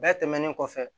Bɛɛ tɛmɛnen kɔfɛ